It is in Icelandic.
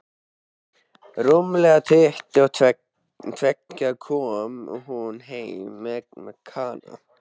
Rúmlega tuttugu og tveggja kom hún heim með Kana.